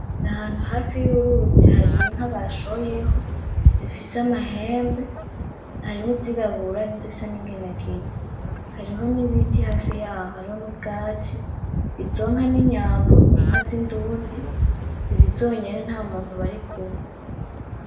N'Ahantu hafi y'uruzi hari inka bashoyeho, zifise amahembe, harimwo izirabura nizisa n'inginangina hariho n'ibiti hafi yaho hariho n'ubwatsi izo nka n'inyambo, n'inka z'indundi ziri zonyene ntamuntu barikumwe.